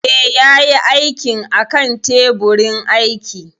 Eh, ya yi aikin a kan teburin aiki